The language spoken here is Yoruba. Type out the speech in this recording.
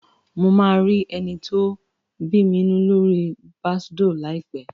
Mo máa rí ẹni tó bámimu lóri Bàsdóò láìpẹ́